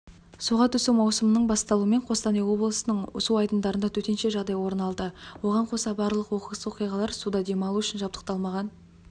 суға түсу маусымының басталуымен қостанай облысының су айдындарында төтенше жағдай орын алды оған қоса барлық оқыс оқиғалар суда демалу үшін жабдықталмаған